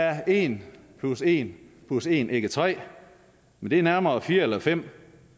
er en plus en plus en ikke tre men nærmere fire eller fem